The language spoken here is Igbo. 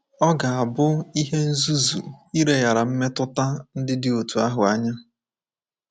Ọ ga-abụ ihe nzuzu ileghara mmetụta ndị dị otú ahụ anya.